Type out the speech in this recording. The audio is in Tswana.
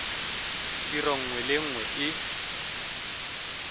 tiro nngwe le nngwe e